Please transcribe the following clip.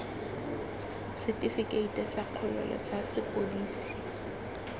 setifikeite sa kgololo sa sepodisi